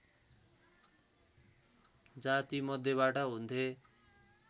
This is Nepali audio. जाति मध्येबाट हुन्थे